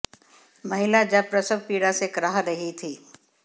महिला जब प्रसव पीड़ा से कराह रहीं थी